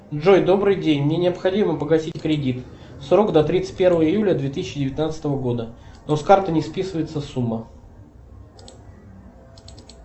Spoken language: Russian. джой добрый день мне необходимо погасить кредит срок до тридцать первого июля две тысячи девятнадцатого года но с карты не списывается сумма